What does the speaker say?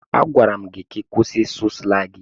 Agwara m gị kwụsị ịsụ slangị!